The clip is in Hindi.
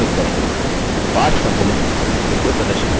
पाठ सम्मिलित विंडो प्रदर्शित होती है